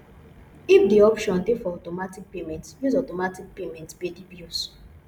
if di option dey for automatic payment use automatic payment pay di bills